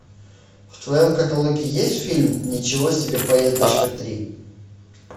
в твоем каталоге есть фильм ничего себе поездочка три